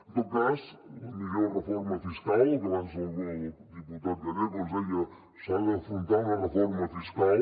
en tot cas la millor reforma fiscal que abans el diputat gallego ens deia s’ha d’afrontar una reforma fiscal